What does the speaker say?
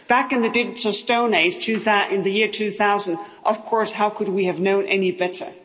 Back in the digital stone age, in the year 2000, of course, how could we have known any better?